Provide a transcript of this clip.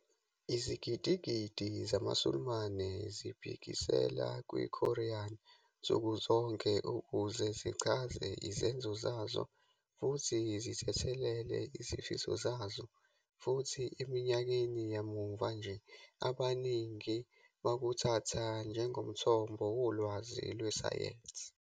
Izigidi nezigidi" zamaSulumane "zibhekisela kwiKoran nsuku zonke ukuze zichaze izenzo zazo futhi zithethelele izifiso zazo," futhi eminyakeni yamuva nje abaningi bakuthatha njengomthombo wolwazi lwesayensi.